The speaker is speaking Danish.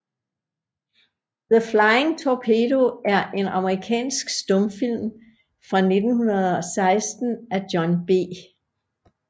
The Flying Torpedo er en amerikansk stumfilm fra 1916 af John B